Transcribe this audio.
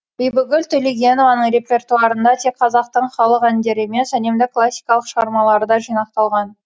бибігүл төлегенованың репертуарында тек қазақтың халық әндері емес әлемдік классикалық шығармалар да жинақталған